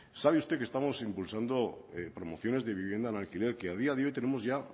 sabe usted que estamos impulsando promociones de vivienda en alquiler que a día de hoy tenemos ya